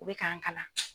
U bɛ k'an kalan